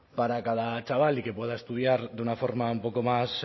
para cada chaval y que pueda estudiar de una forma un poco más